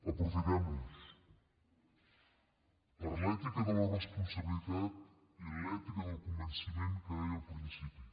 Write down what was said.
aprofitem los per l’ètica de la responsabilitat i l’ètica del convenciment que deia al principi